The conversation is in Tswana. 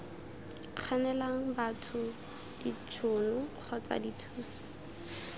kganelang batho ditšhono kgotsa dithuso